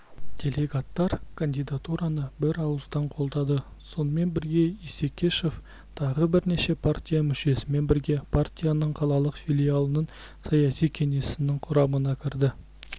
делегаттар кандидатураны бір ауыздан қолдады сонымен бірге исекешев тағы бірнеше партия мүшесімен бірге партияның қалалық филиалының саяси кеңесінің құрамына кірді